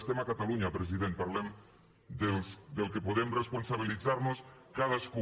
estem a catalunya president parlem del que podem responsabilitzar nos cadascú